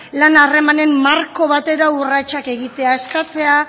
bla lan harremanen marko batera urratsak egitea eskatzea